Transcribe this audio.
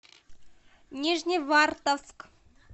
нижневартовск